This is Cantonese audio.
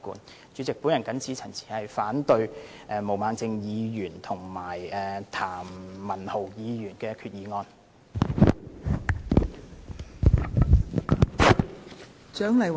代理主席，我謹此陳辭，反對毛孟靜議員和譚文豪議員的決議案。